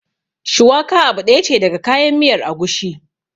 Shuwaka abu ɗaya ce daga kayan miyar agushi